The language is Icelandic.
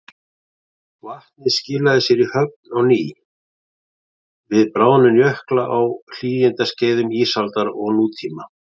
Vatnið skilaði sér í höfin á ný við bráðnun jökla á hlýskeiðum ísaldar og nútíma.